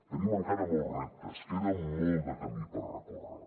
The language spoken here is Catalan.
tenim encara molts reptes queda molt de camí per recórrer